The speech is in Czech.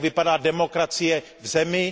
Jak vypadá demokracie v zemi.